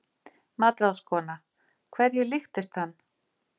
MATRÁÐSKONA: Hverju líktist hann?